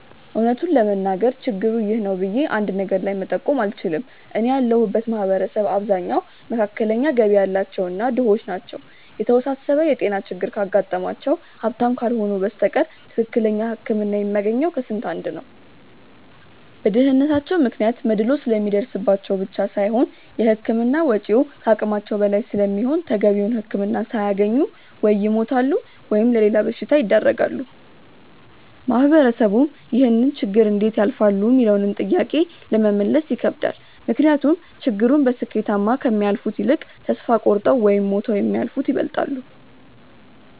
እውነት ለመናገር ችግሩ 'ይህ ነው' ብዬ አንድ ነገር ላይ መጠቆም አልችልም። እኔ ያለሁበት ማህበረሰብ አብዛኛው መካከለኛ ገቢ ያላቸው እና ድሆች ናቸው። የተወሳሰበ የጤና ችግር ካጋጠማቸው ሀብታም ካልሆኑ በስተቀር ትክክለኛ ህክምና የሚያገኘው ከስንት አንድ ነው። በድህነታቸው ምክንያት መድሎ ስለሚደርስባቸው ብቻ ሳይሆን የህክምና ወጪው ከአቅማቸው በላይ ስለሚሆን ተገቢውን ህክምና ሳያገኙ ወይ ይሞታሉ ወይም ለሌላ በሽታ ይዳረጋሉ። ማህበረሰቡም ይህንን ችግር እንዴት ያልፋሉ ሚለውንም ጥያቄ ለመመለስ ይከብዳል። ምክንያቱም ችግሩን በስኬታማ ከሚያልፉት ይልቅ ተስፋ ቆርጠው ወይም ሞተው የሚያልፉት ይበልጣሉ።